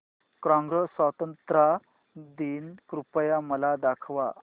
Congo स्वतंत्रता दिन कृपया मला दाखवा